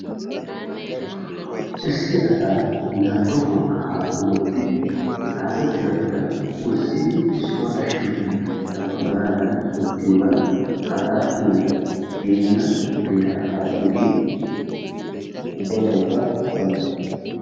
Issi asaa nabbabuwa kahaa omooddidi he xaafettidabaa wurssidi issuwa ashshennan nabbabanaadan oottiyogan hagaa keena geenna beeraa kaa'iyoggee ubbatookka qoncce.